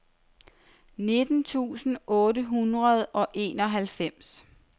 nitten tusind otte hundrede og enoghalvfems